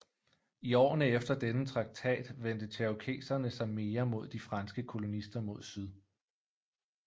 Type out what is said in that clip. I årene efter denne traktat vendte cherokeserne sig mere mod de franske kolonister mod syd